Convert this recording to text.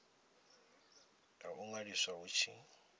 ya u ṅwaliswa hu tshi